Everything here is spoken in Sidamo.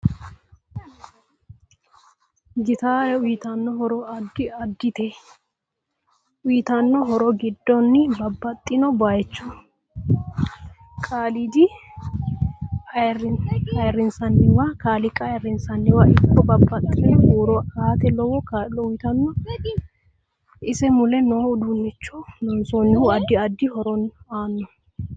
Gitaare uyiitanno horo addi addite uyiitanno horo giddo babaxino bayiicho kaliiqa ayiirinsayiiwa ikko babaxitino huuro aate lowo kaalo uyiitanno ise mule noo uduunicho loonsoonihu addi addi horo aano